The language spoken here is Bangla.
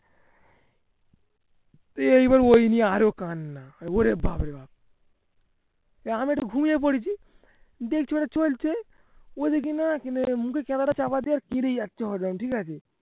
তুই এবার ওই আরো কান্না ওরে বাপরে বাপ আমি একটু ঘুমিয়ে পড়েছি চলছে মুখের চাপা দিয়া ঠিকাছে